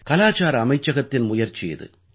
கலாச்சார அமைச்சகத்தின் முயற்சி இது